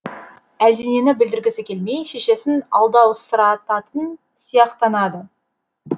әлденені білдіргісі келмей шешесін алдаусырататын сияқтанады